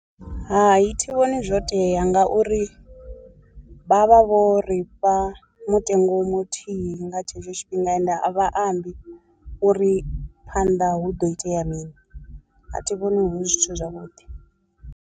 Hai thi vhoni zwo tea ngauri vha vha vho ri fha mutengo muthihi nga tshetsho tshifhinga ende a vha ambi uri phanḓa hu do itea mini, a thi vhoni hu zwithu zwavhuḓi.